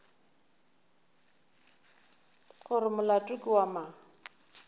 gore molato ke wa mang